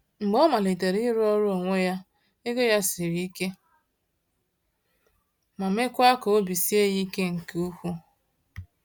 Mgbe ọ malitere ịrụ ọrụ onwe ya, ego ya siri ike ma meekwa ka obi sie ya ike nke ukwuu.